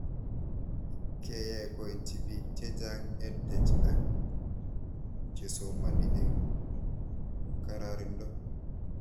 Keyai koitchi pik chechang' EdTech ak chesomani eng' kararindo